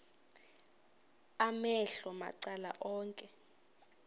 amehlo macala onke